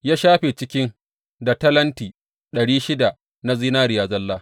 Ya shafe cikin da talenti ɗari shida na zinariya zalla.